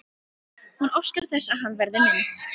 Hún óskar þess að hann verði minn.